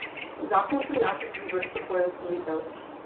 Zakon prinaša tudi vrsto poenostavitev.